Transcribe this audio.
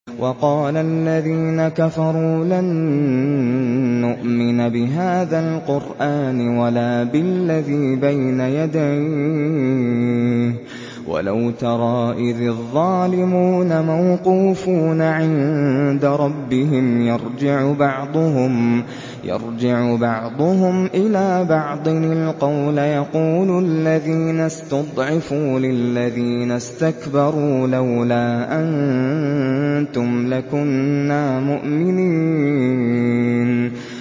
وَقَالَ الَّذِينَ كَفَرُوا لَن نُّؤْمِنَ بِهَٰذَا الْقُرْآنِ وَلَا بِالَّذِي بَيْنَ يَدَيْهِ ۗ وَلَوْ تَرَىٰ إِذِ الظَّالِمُونَ مَوْقُوفُونَ عِندَ رَبِّهِمْ يَرْجِعُ بَعْضُهُمْ إِلَىٰ بَعْضٍ الْقَوْلَ يَقُولُ الَّذِينَ اسْتُضْعِفُوا لِلَّذِينَ اسْتَكْبَرُوا لَوْلَا أَنتُمْ لَكُنَّا مُؤْمِنِينَ